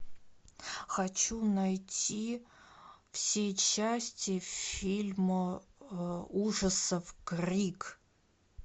хочу найти все части фильма ужасов крик